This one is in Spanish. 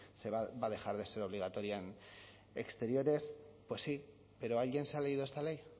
se va a dejar de ser obligatoria en exteriores pues sí pero alguien se ha leído esta ley